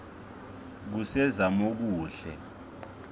kusezamokuhle